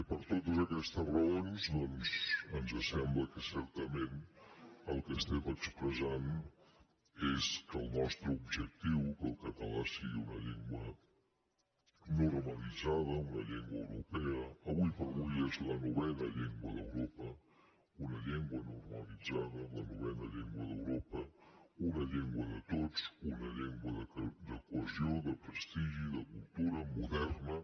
per totes aquestes raons doncs ens sembla que certament el que estem expressant és que el nostre objectiu que el català sigui una llengua normalitzada una llengua europea ara com ara és la novena llengua d’europa una llengua normalitzada la novena llengua d’europa una llengua de tots una llengua de cohesió de prestigi de cultura moderna